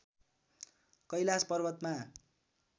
कैलाश पर्वतमा